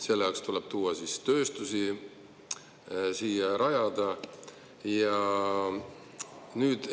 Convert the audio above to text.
Selleks tuleb siia tööstus rajada.